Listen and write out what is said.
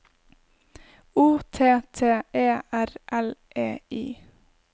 O T T E R L E I